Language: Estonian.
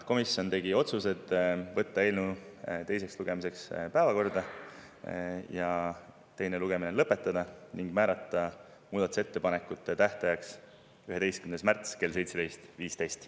Komisjon tegi otsused: võtta eelnõu teiseks lugemiseks päevakorda, teine lugemine lõpetada ning määrata muudatusettepanekute tähtajaks 11. märts kell 17.15.